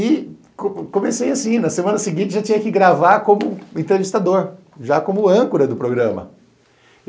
E comecei assim, na semana seguinte já tinha que gravar como entrevistador, já como âncora do programa.